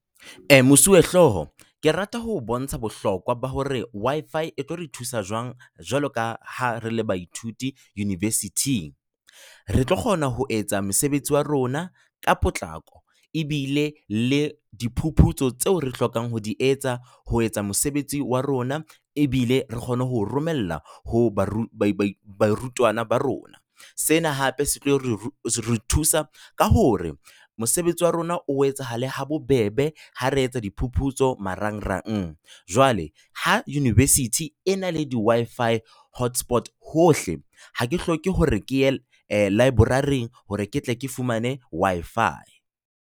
Mosuwehlooho ke rata ho bontsha bohlokwa ba hore Wi-fi e tlo re thusa jwang jwaloka ha re le baithuti University-ng. Re tlo kgona ho etsa mosebetsi wa rona ka potlako ebile le diphuputso tseo re hlokang ho di etsa ho etsa mosebetsi wa rona, ebile re kgone ho romella ho bairutwana ba rona. Sena hape se tlo re thusa ka hore mosebetsi wa rona o etsahale ha bobebe ha re etsa diphuputso marangrang. Jwale ha University e na le di-Wi-fi hotspots hohle, ha ke hloke hore ke ye library hore ke tle ke fumane Wi-fi.